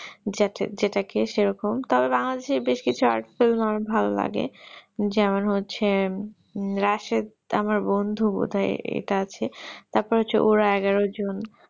যার যা যেটাকে সেরকম তো বাংলাদেশ এর কিছু Art-film ভালো লাগে যেমন হচ্ছে রাশিদ আমার বন্ধু বোধহয় ইটা আছে তারপর হচ্ছে ওরা এগারোজন